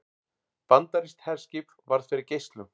Bandarískt herskip varð fyrir geislum